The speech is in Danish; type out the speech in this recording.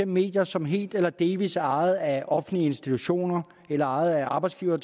medier som helt eller delvis er ejet af offentlige institutioner eller ejet af arbejdsgivere